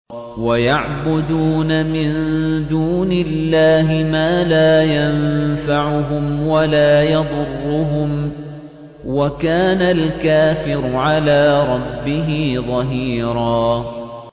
وَيَعْبُدُونَ مِن دُونِ اللَّهِ مَا لَا يَنفَعُهُمْ وَلَا يَضُرُّهُمْ ۗ وَكَانَ الْكَافِرُ عَلَىٰ رَبِّهِ ظَهِيرًا